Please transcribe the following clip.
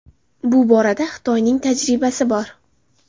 Bu borada Xitoyning tajribasi bor.